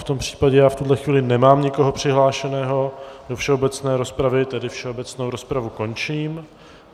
V tom případě já v tuhle chvíli nemám nikoho přihlášeného do všeobecné rozpravy, tedy všeobecnou rozpravu končím.